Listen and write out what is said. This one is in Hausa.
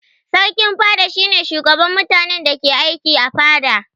Sarkin fada shi ne shugaban mutanen da ke aiki a fada.